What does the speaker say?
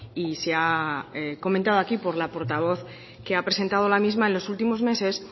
y se ha comentado aquí por la portavoz que ha presentado la misma en los últimos meses